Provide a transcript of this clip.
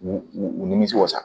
U u u nimisi wasa